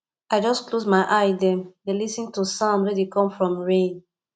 i just close my eye dem dey lis ten to sound wey dey come from rain